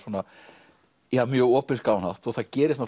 mjög opinskáan hátt það gerist